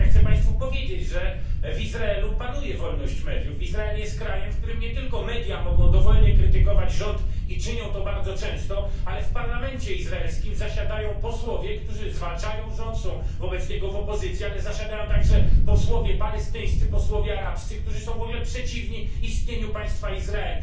Otóż ja chcę Państwu powiedzieć, że w Izraelu panuje wolność mediów, Izrael jest krajem, w którym nie tylko media mogą dowolnie krytykować rząd i czynią to bardzo często, ale w parlamencie izraelskim zasiadają posłowie, którzy zwalczają rząd, są wobec niego w opozycji, ale zasiadają także posłowie palestyńscy, posłowie arabscy, którzy są w ogóle przeciwni istnieniu państwa Izrael.